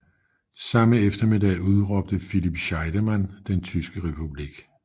Samme eftermiddag udråbte Philipp Scheidemann den tyske republik